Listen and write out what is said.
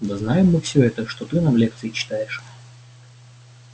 да знаем мы всё это что ты нам лекции читаешь